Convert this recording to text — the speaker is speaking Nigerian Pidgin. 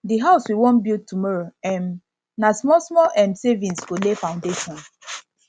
the house we wan build tomorrow um na smallsmall um savings go lay foundation